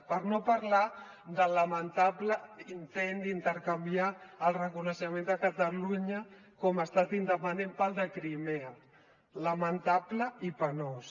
per no parlar del lamentable intent d’intercanviar el reconeixement de catalunya com a estat independent pel de crimea lamentable i penós